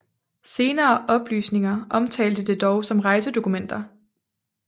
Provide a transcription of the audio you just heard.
Senere oplysninger omtalte det dog som rejsedokumenter